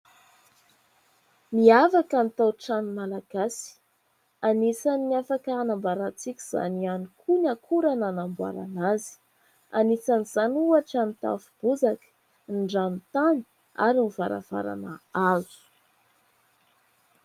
Miavaka ny tao-trano Malagasy. Anisany afaka hanamboarantsika izany hiany koa ny akora nanamboarana azy. Anisan'izany ohatra : Ny tafo bozaka, ny ranotany, ary ny varavarana hazo.